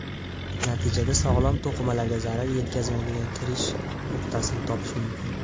Natijada sog‘lom to‘qimalarga zarar yetkazmaydigan kirish nuqtasini topish mumkin.